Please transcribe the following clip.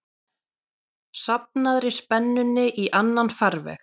safnaðri spennunni í annan farveg.